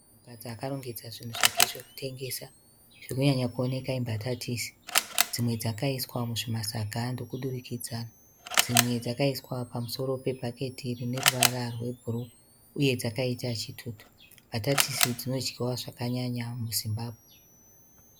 Mukadzi akarongedza zvinhu zvake zvekutengesa, zviri kunyanya kuoneka imbatatisi dzimwe dzakaiswa muzvimasaga ndokudurukidza dzimwe dzakaiswa pamusoro pebhaketi rine ruvara rwebhuruu uye dzakaita chitutu, mbatatisi dzinodyiwa zvakanyanya muZimbabwe.